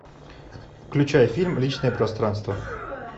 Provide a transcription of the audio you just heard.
включай фильм личное пространство